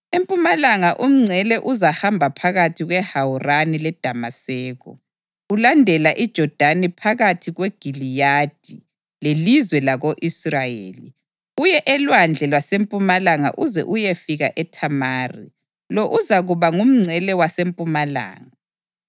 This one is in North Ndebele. Empumalanga umngcele uzahamba phakathi kweHawurani leDamaseko, ulandela iJodani phakathi kweGiliyadi lelizwe lako-Israyeli, uye elwandle lwasempumalanga uze uyefika eThamari. Lo uzakuba ngumngcele wasempumalanga.